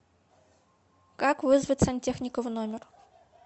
как вызвать сантехника в номер